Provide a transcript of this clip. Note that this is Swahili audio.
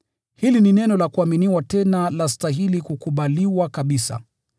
Hili ni neno la kuaminiwa tena lastahili kukubaliwa kabisa,